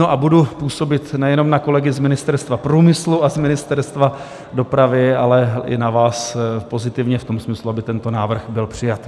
No a budu působit nejenom na kolegy z Ministerstva průmyslu a z Ministerstva dopravy, ale i na vás pozitivně v tom smyslu, aby tento návrh byl přijat.